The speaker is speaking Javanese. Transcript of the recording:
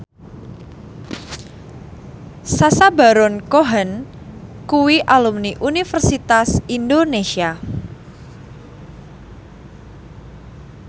Sacha Baron Cohen kuwi alumni Universitas Indonesia